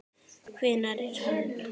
Hver er hann?